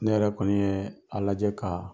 Ne yɛrɛ kɔni ye a lajɛ ka